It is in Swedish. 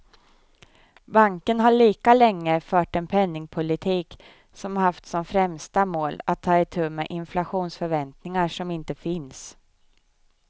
Banken har lika länge fört en penningpolitik som haft som främsta mål att ta itu med inflationsförväntningar som inte finns.